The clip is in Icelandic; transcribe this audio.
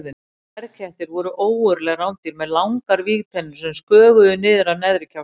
Sverðkettir voru ógurleg rándýr með langar vígtennur sem sköguðu niður af neðri kjálka.